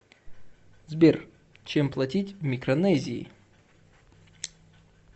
сбер чем платить в микронезии